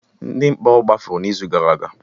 Ndị mkpọrọ gbafuru n'izu gara aga